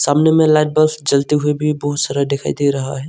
सामने में लाइट बस जलते हुए भी बहोत सारा दिखाई दे रहा है।